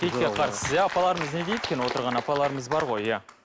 киітке қарсысыз иә апаларымыз не дейді екен отырған апаларымыз бар ғой иә